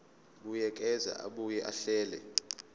buyekeza abuye ahlele